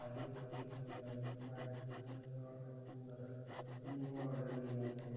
हमारे यहा -- शादी पार्टी का या अन्य